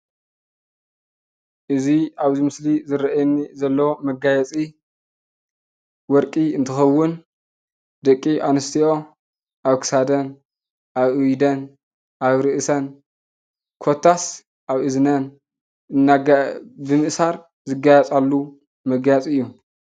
እዚ አብዚ ምስሊ ዝርአየኒ ዘሎ መጋየፂ ወርቂ እንትኸውን ደቂ አንስትዮ አብ ክሳደን፣ አብ ኢደን፣ አብ ርእሰን ኮታስ አብ እዝነን ብምእሳር ዘጋይፃሉ መጋየፂ እዩ፡፡